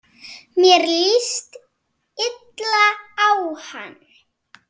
Mér líst illa á hana.